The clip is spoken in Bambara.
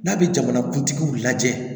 N'a bɛ jamanakuntigiw lajɛ